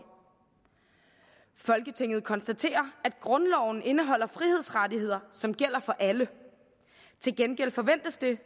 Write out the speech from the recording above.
folketinget konstaterer at grundloven indeholder frihedsrettigheder som gælder for alle til gengæld forventes det